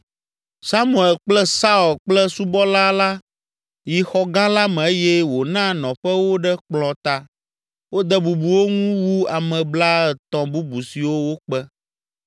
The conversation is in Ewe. Samuel kple Saul kple subɔla la yi xɔ gã la me eye wòna nɔƒe wo ɖe kplɔ̃ ta. Wode bubu wo ŋu wu ame blaetɔ̃ bubu siwo wokpe.